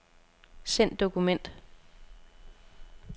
Send dokument.